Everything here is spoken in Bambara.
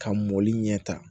Ka mɔli ɲɛ tan